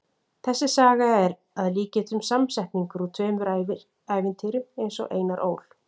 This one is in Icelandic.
Þessi saga er að líkindum samsetningur úr tveimur ævintýrum eins og Einar Ól.